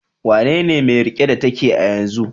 Wanene mai rike da take a yanzu?